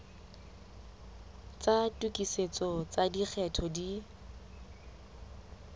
tsa tokisetso tsa lekgetho di